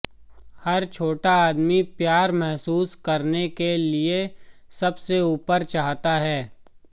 हर छोटा आदमी प्यार महसूस करने के लिए सब से ऊपर चाहता है